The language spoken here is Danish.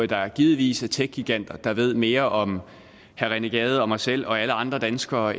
der givetvis er techgiganter der ved mere om herre rené gade og mig selv og alle andre danskere